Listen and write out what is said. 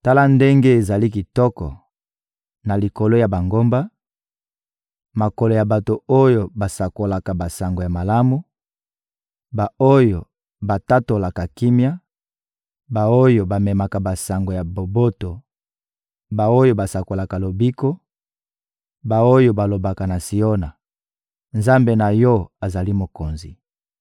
Tala ndenge ezali kitoko, na likolo ya bangomba, makolo ya bato oyo basakolaka basango ya malamu, ba-oyo batatolaka kimia, ba-oyo bamemaka basango ya boboto, ba-oyo basakolaka lobiko, ba-oyo balobaka na Siona: «Nzambe na yo azali Mokonzi!»